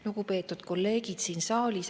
Lugupeetud kolleegid siin saalis!